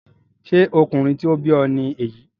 Ṣé ọkùnrin tí ó bí ọ ni èyí?